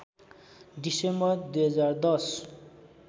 December २०१०